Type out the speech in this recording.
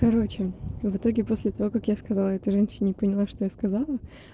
короче в итоге после того как я сказала этой женщине и поняла что я сказала